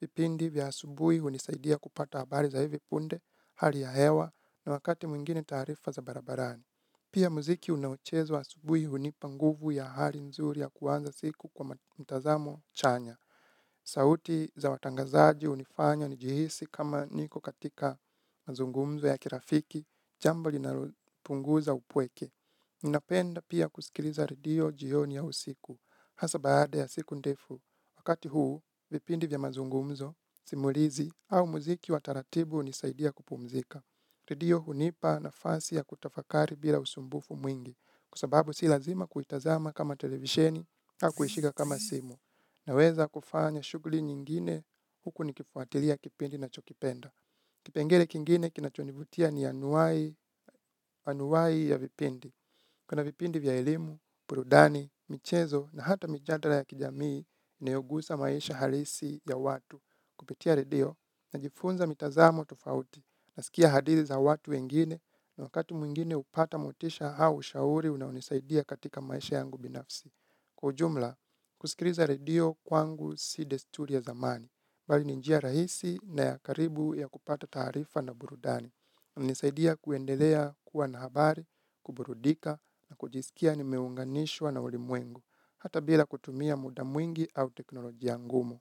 Vipindi vya asubui hunisaidia kupata habari za hivi punde, hali ya hewa na wakati mwingine taarifa za barabarani. Pia muziki unaochezwa asubui hunipa nguvu ya hali nzuri ya kuanza siku kwa mtazamo chanya. Sauti za watangazaji unifanya nijihisi kama niko katika mazungumzo ya kirafiki, chambo linalopunguza upweke. Ninapenda pia kusikiliza radio jioni au usiku, hasa baada ya siku ndefu. Wakati huu, vipindi vya mazungumzo, simulizi au muziki wa taratibu unisaidia kupumzika. Redio hunipa nafasi ya kutafakari bila usumbufu mwingi, kwa sababu si lazima kuitazama kama televisheni au kuishika kama simu. Naweza kufanya shugli nyingine huku nikifuatilia kipindi nachokipenda. Kipengele kingine kinachonivutia ni anuwai ya vipindi. Kuna vipindi vya elimu, burudani, michezo na hata mijadala ya kijamii inayogusa maisha halisi ya watu kupitia redio. Najifunza mitazamo tofauti naskia hadithi za watu wengine na wakati mwingine upata motisha hau ushauri unaonisaidia katika maisha yangu binafsi. Kwa ujumla, kusikiliza radio kwangu si desturi ya zamani, bali ni njia rahisi na ya karibu ya kupata taarifa na burudani. Nisaidia kuendelea kuwa na habari, kuburudika na kujiskia nimeunganishwa na ulimwengu, hata bila kutumia muda mwingi au teknolojia ngumu.